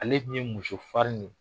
Ale dun ye muso farin de